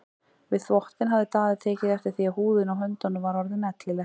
Við þvottinn hafði Daði tekið eftir því að húðin á höndunum var orðin ellileg.